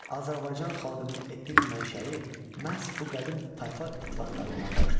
Azərbaycan xalqının etnik mənşəyi məhz bu qədim tayfa ittifaqlarından başlayır.